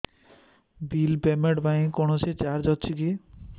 bill payment ପାଇଁ କୌଣସି charge ଅଛି କି